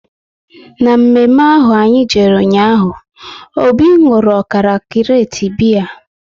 Na mme mme ahụ anyị jere ụnyaahụ, Obi nwụrụ ọkara krate biya